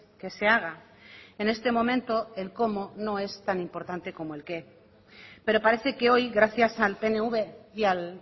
que se haga en este momento el cómo no es tan importante como el qué pero parece que hoy gracias al pnv y al